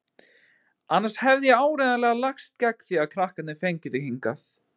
Annars hefði ég áreiðanlega lagst gegn því að krakkarnir fengju þig hingað.